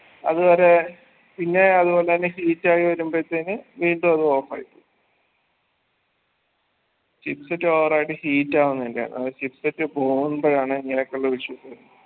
അത് വരെ പിന്നേം അതുപോലെന്നെ heat ആയി വരുമ്പഴ് ത്തേന് വീണ്ടും അത് off ആയി പോകും chipset over ആയിട്ട് heat ആവുന്നേൻറെ ആണ് അത് chipset പോവുമ്പഴാണ് ഇങ്ങനൊക്കുള്ളൊരു issue